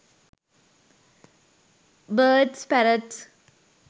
birds parrots